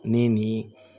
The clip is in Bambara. Ne ni